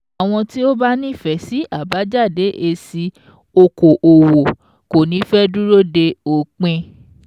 Àwọn tí ó bá nífẹ̀ẹ́ sí àbájáde èsì okò-òwò kò ní fẹ́ dúró de òpin.